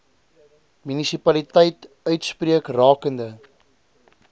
munisipaliteit uitspreek rakende